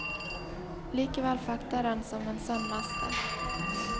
Likevel fekter han som en sann mester.